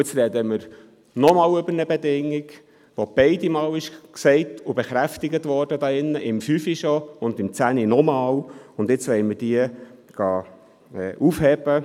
Nun reden wir nochmals über eine Bedingung, die hier beide Male – schon im Jahr 2005 und nochmals im Jahr 2010 – genannt und bekräftigt worden ist, und wollen diese aufheben.